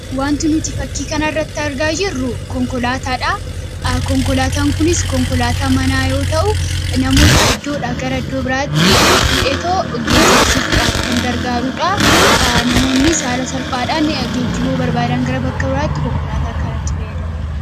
wanti nuti fakkii kana irratti argaa jirru konkolaataadha. konkolaataan kunis konkolaataa manaa yoo ta'u namoota iddoodha gara iddoo biraatti fudheetoo geejabsiisuudhaaf kan gargaaruudha. namoonnis haala salphaadhaan geejibuu barbaadan gara bakka biraatti konkolaataa kanatti fayyadamu.